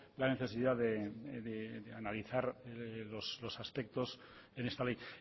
la necesidad de analizar los aspectos en esta ley